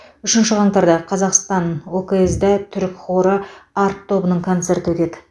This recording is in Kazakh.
үшінші қаңтарда қазақстан окз да түрік хоры арт тобының концерті өтеді